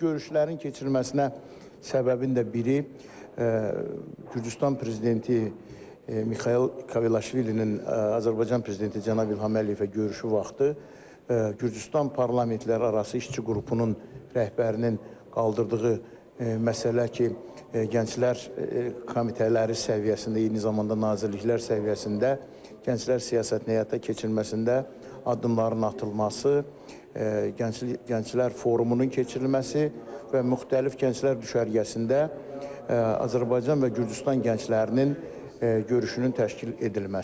Görüşlərin keçirilməsinə səbəbin də biri Gürcüstan prezidenti Mixail Kavelaşvilinin Azərbaycan prezidenti Cənab İlham Əliyevə görüşü vaxtı Gürcüstan parlamentlərarası işçi qrupunun rəhbərinin qaldırdığı məsələ ki, gənclər komitələri səviyyəsində eyni zamanda nazirliklər səviyyəsində gənclər siyasətinin həyata keçirilməsində addımların atılması, gənclər forumunun keçirilməsi və müxtəlif gənclər düşərgəsində Azərbaycan və Gürcüstan gənclərinin görüşünün təşkil edilməsidir.